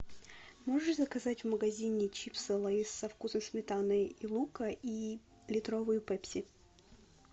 можешь заказать в магазине чипсы лейс со вкусом сметаны и лука и литровую пепси